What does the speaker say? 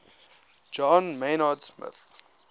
john maynard smith